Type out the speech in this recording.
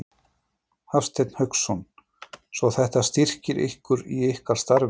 Hafsteinn Hauksson: Svo þetta styrkir ykkur í ykkar starfi?